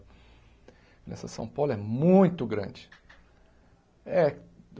Essa São Paulo é muito grande. É